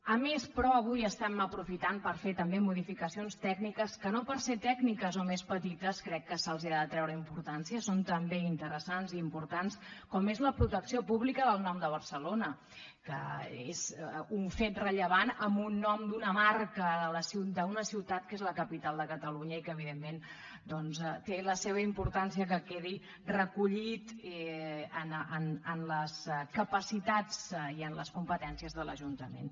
a més però avui aprofitem per fer també modificacions tècniques que no perquè són tècniques o més petites crec que se’ls ha de treure importància són també interessants i importants com és la protecció pública del nom de barcelona que és un fet rellevant amb un nom d’una marca d’una ciutat que és la capital de catalunya i que evidentment doncs té la seva importància que quedi recollit en les capacitats i en les competències de l’ajuntament